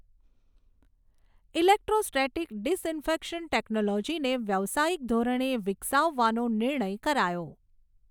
electrostatic disinfection ટેક્નોલોજીને વ્યાવસાયિક ધોરણે વિકસાવવાનો નિર્ણય કરાયો